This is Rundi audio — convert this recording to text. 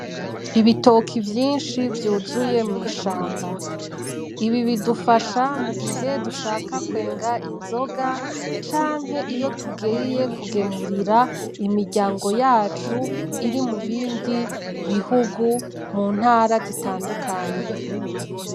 Ibitoki vyinshi vyuzuye mw'ishamba, ibi bidufasha mu gihe dushaka kwenga inzoga canke iyo tugiye kugemurira imiryango yacu iri mubindi bihugu mu ntara zitandukanye.